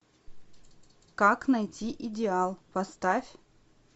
как найти идеал поставь